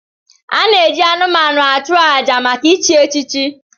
A na-eji anụmanụ achụ àjà maka ichi echichi.